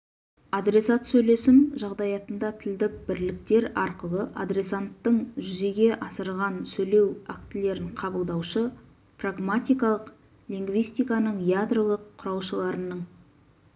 адресат сөйлесім жағдаятында тілдік бірліктер арқылы адресанттың жүзеге асырған сөйлеу актілерін қабылдаушы прагматикалық лингвистиканың ядролық құраушыларының